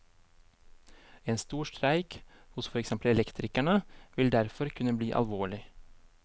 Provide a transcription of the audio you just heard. En stor streik hos for eksempel elektrikerne, vil derfor kunne bli alvorlig.